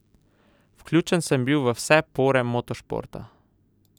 Vključen sem bil v vse pore motošporta.